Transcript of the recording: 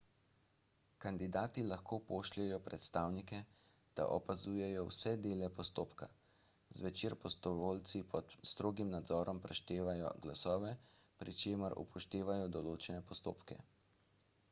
kandidati lahko pošljejo predstavnike da opazujejo vse dele postopka zvečer prostovoljci pod strogim nadzorom preštejejo glasove pri čemer upoštevajo določene postopke